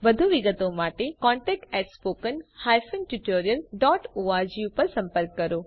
વધુ વિગતો માટે contactspoken tutorialorg પર સંપર્ક કરો